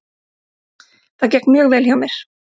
Það gekk mjög vel hjá mér.